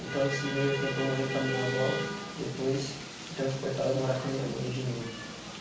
Então, esse meio tempo eu morei com a minha avó, depois fui transportada a morar com a minha mãe de novo.